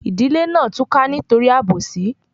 Ìdílé náà túká nítorí àbòsí